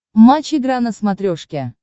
матч игра на смотрешке